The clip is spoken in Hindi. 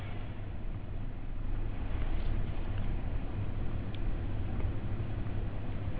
enter प्रेस करें